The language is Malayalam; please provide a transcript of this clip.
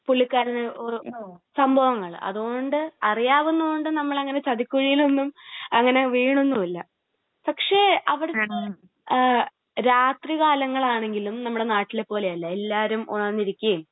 പുള്ളിക്കാരന് സംഭവങ്ങൾ. അത് കൊണ്ട് അറിയാവുന്നത് കൊണ്ട് നമ്മൾ അങ്ങനെ ചതിക്കുഴിയിലൊന്നും അങ്ങനെ വീഴുന്നും ഇല്ല. പക്ഷേ അവിടെ രാത്രി കാലങ്ങൾ ആണെങ്കിലും നമ്മുടെ നാട്ടിലെ പോലെ അല്ല. എല്ലാവരും ഉണർന്നിരിക്കുകയും